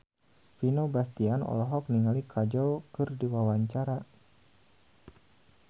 Vino Bastian olohok ningali Kajol keur diwawancara